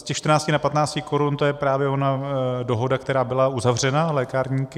Z těch 14 na 15 korun, to je právě ona dohoda, která byla uzavřena lékárníky.